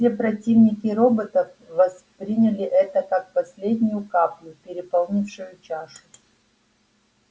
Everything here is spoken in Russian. все противники роботов восприняли это как последнюю каплю переполнившую чашу